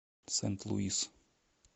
сент луис